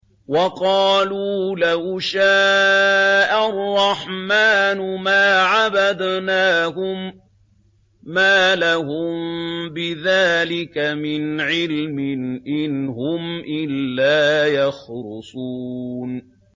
وَقَالُوا لَوْ شَاءَ الرَّحْمَٰنُ مَا عَبَدْنَاهُم ۗ مَّا لَهُم بِذَٰلِكَ مِنْ عِلْمٍ ۖ إِنْ هُمْ إِلَّا يَخْرُصُونَ